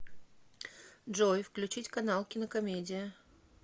джой включить канал кинокомедия